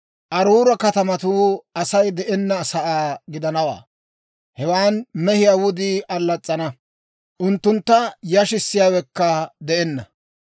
Aruura katamatuu Asay de'enna sa'aa gidanawantta; hewan mehiyaa wudii allas's'ana; unttunttu yashissiyaawekka de'enna.